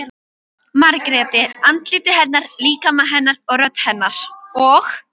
Margréti- andliti hennar, líkama hennar, rödd hennar- og